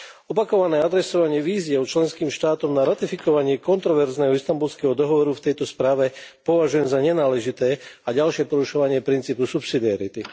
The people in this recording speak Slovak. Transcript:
Opakované adresovanie výziev členským štátom na ratifikovanie kontroverzného Istanbulského dohovoru v tejto správe považujem za nenáležité a ďalšie porušovanie princípu subsidiarity.